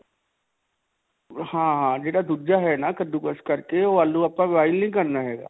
ਹਾਂ. ਜਿਹੜਾ ਦੂਜਾ ਹੈ ਨਾ ਕੱਦੂਕਸ ਕਰਕੇ ਓਹ ਆਲੂ ਆਪਾ boil ਨਹੀਂ ਕਰਨਾ ਹੈਗਾ.